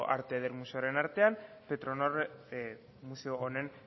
arte ederretako museoaren artean petronor museo honen